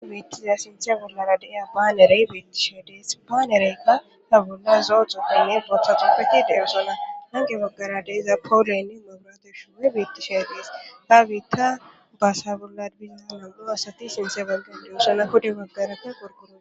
Metiza sinthe bollara de7a baanerey biittishe dees baanereykka habunna zoo xoppinne botaxuppehi de7o sola hange baggara deeza powoleynne maburateshiwe biittishe gees ha giitta baasa bolla biza namgu asati sinthe balge deo suna hode baggarapke gorguro